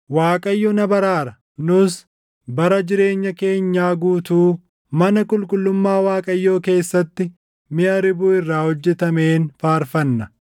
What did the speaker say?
Waaqayyo na baraara; nus bara jireenya keenyaa guutuu, mana qulqullummaa Waaqayyoo keessatti miʼa ribuu irraa hojjetameen faarfanna.